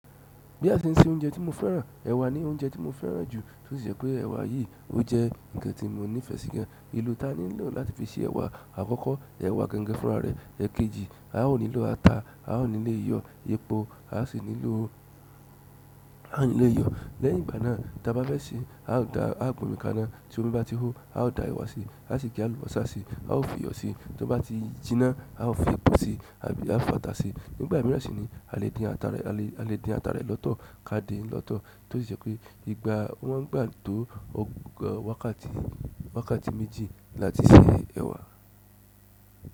Bí a se ń se oúnjẹ tí mo fẹ́ràn, ẹ̀wà ni oúnjẹ tí mo fẹ́ràn jù, tó sì je pé ẹ̀wà yìí ó jẹ́ ǹkan tí mo nífẹ̀ẹ́ sí gan. Ibi ta nílò láti fi se ewa. Àkọ́kọ́, ẹwà gangan fúnra rẹ̀. Ẹ̀kejì, a ó nílò ata, a ó nílé iyọ̀, yépọ́, a sì nílò a ó nílé iyọ̀. Lẹ́yìn ìgbà náà, tí a bá fẹ́ sè é, a ó da a gómìnkáná. To mi ba ti ho a da ewa si, asi ge alubosa si, a o fi iyo si tí ó bá ti jíná, a ó fi epo sí i àbí à fọ ata sí i. Nígbà mìíràn sì ni a lè dín ata rẹ, a lè dín ata rẹ lọ́tọ̀ ká di lọ́tọ̀, tó sì ṣe pé ìgbà wọ́n gbà tó ọgọ́, wákàtí, wákàtí méjì láti sè ẹ̀wà.